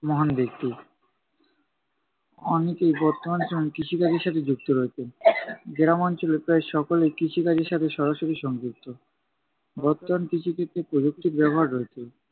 মহান ব্যক্তি। অনেকেই বর্তমান সময়ে কৃষিকাজের সাথে যুক্ত রয়েছেন। গ্রাম অঞ্চলের প্রায় সকলেই কৃষিকাজের সাথে সরাসরি সংযুক্ত। বর্তমান কৃষিক্ষেত্রে প্রযুক্তির ব্যবহার রয়েছে।